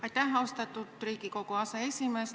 Aitäh, austatud Riigikogu aseesimees!